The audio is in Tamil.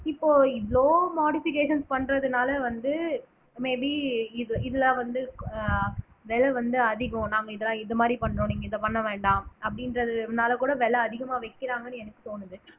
இப்போ இவ்வளோ modifications பண்றதுனால வந்து may be இது இதுல வந்து அஹ் விலை வந்து அதிகம் நாம இதெல்லாம் இது மாதிரி பண்றோம் நீங்க இதை பண்ண வேண்டாம் அப்படின்றதுனால கூட விலை அதிகமா வைக்கிறாங்கன்னு எனக்கு தோணுது